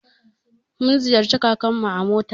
Mun ziyarci kakarmu a mota.